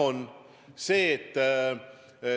Vastus: jah on.